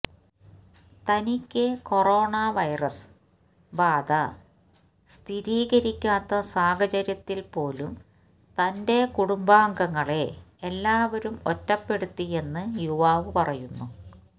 തനിക്ക് corona virus ബാധ സ്ഥിരീക്കാത്ത സാചര്യത്തില്പ്പോലും തന്റെ കുടുംബാംഗങ്ങളെ എല്ലാവരും ഒറ്റപ്പെടുത്തിയെന്ന് യുവാവ് പറയുന്നു